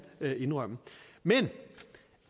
indrømme men